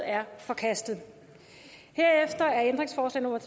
er forkastet herefter er ændringsforslag nummer